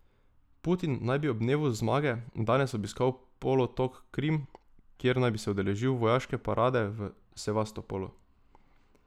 Putin naj bi ob dnevu zmage danes obiskal polotok Krim, kjer naj bi se udeležil vojaške parade v Sevastopolu.